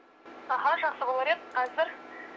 аха жақсы болар еді қазір